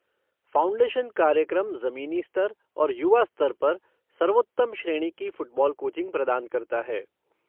Foundation कार्यक्रम जमीनी स्तर और युवा स्तर पर सर्वोत्तम श्रेणी की फ़ुटबॉल कोचिंग प्रदान करता है।